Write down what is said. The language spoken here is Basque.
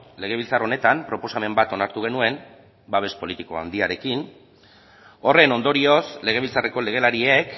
legebiltzar honetan proposamen bat onartu genuen babes politiko handiarekin horren ondorioz legebiltzarreko legelariek